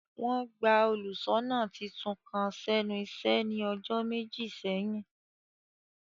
Wọn gba óluṣọna titun kan sẹnu iṣe ni ọjọ meji seyin.